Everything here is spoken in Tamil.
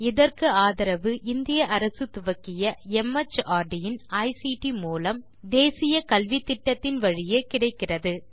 Iஇதற்கு ஆதரவு இந்திய அரசு துவக்கிய மார்ட் இன் ஐசிடி மூலம் தேசிய கல்வித்திட்டத்தின் வழியே கிடைக்கிறது